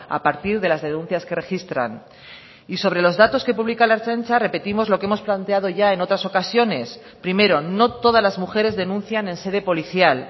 a partir de las denuncias que registran y sobre los datos que publica la ertzaintza repetimos lo que hemos planteado ya en otras ocasiones primero no todas las mujeres denuncian en sede policial